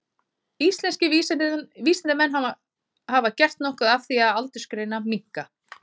Íslenskir vísindamenn hafa gert nokkuð af því að aldursgreina minka.